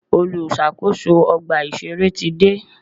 Olùṣàkóso ọgbà ìṣẹ̀rẹ́ ti dé.